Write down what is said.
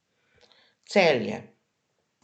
Celje.